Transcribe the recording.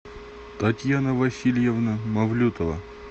татьяна васильевна мавлютова